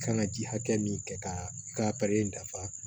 Kan ka ji hakɛ min kɛ ka i ka dafa